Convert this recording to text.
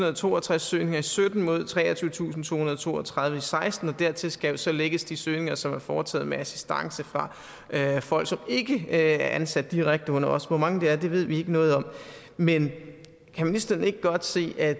og toogtreds søgninger i sytten mod treogtyvetusinde og tohundrede og toogtredive og seksten og dertil skal så lægges de søgninger som er foretaget med assistance fra folk som ikke er ansat direkte under os hvor mange det er ved vi ikke noget om men kan ministeren ikke godt se at